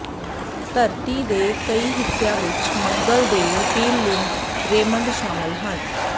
ਧਰਤੀ ਦੇ ਕਈ ਹਿੱਸਿਆਂ ਵਿਚ ਮੰਗਲ ਦੇ ਰਪੀਲਲਿੰਗ ਰੇਮੰਡ ਸ਼ਾਮਲ ਹਨ